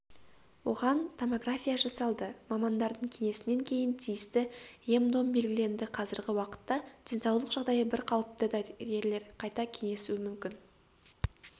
оған томография жасалды мамандардың кеңесінен кейін тиісті ем-дом белгіленді қазіргі уақытта денсаулық жағдайы бір қалыпты дәрігерлер қайта кеңесуі мүмкін